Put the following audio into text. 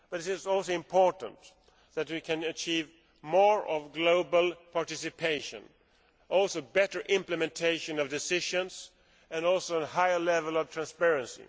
But it is also important that we achieve more global participation, better implementation of decisions and a higher level of transparency.